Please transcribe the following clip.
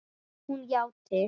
Hún játti.